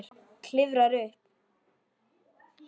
Klifrar upp.